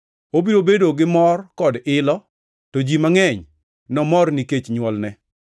Obiro bedo ni mor kod ilo, to ji mangʼeny nomor nikech nywolne,